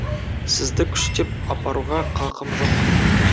сізді күштеп апаруға қақым жоқ